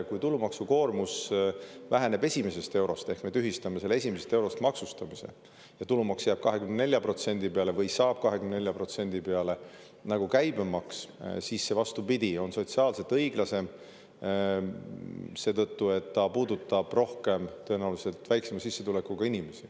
Kui me tühistame selle esimesest eurost maksustamise ja tulumaks jääb 24% peale või saab 24% peale nagu käibemaks, siis see, vastupidi, on sotsiaalselt õiglasem, sest see tõenäoliselt rohkem puudutab väiksema sissetulekuga inimesi.